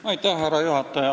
Härra juhataja!